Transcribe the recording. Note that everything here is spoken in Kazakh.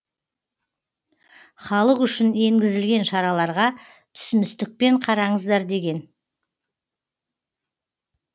халық үшін енгізілген шараларға түсіністікпен қараңыздар деген